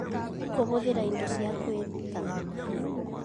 Kũhũthĩra indo cia kwĩruta